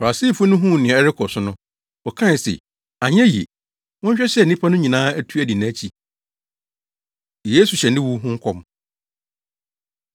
Farisifo no huu nea ɛrekɔ so no, wɔkae se, “Anyɛ yiye! Monhwɛ sɛ nnipa no nyinaa atu adi nʼakyi!” Yesu Hyɛ Ne Wu Ho Nkɔm